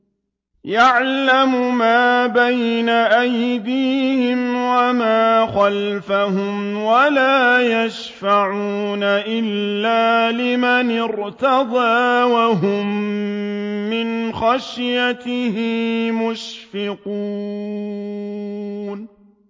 يَعْلَمُ مَا بَيْنَ أَيْدِيهِمْ وَمَا خَلْفَهُمْ وَلَا يَشْفَعُونَ إِلَّا لِمَنِ ارْتَضَىٰ وَهُم مِّنْ خَشْيَتِهِ مُشْفِقُونَ